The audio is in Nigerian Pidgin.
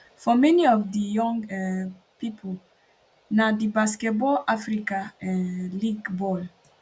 for many of di young um pipo na di basketball africa um league bal